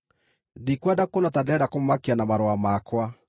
Ndikwenda kuonwo ta ndĩrenda kũmũmakia na marũa makwa.